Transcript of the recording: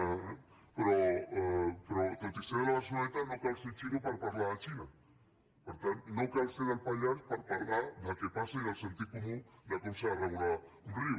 però tot i ser de la barceloneta no cal ser xinès per parlar de la xina per tant no cal ser del pallars per parlar del que passa i del sentit comú de com s’ha de regular un riu